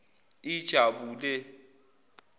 ijabule